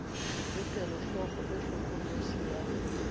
le kelohloko e hlokolosi ya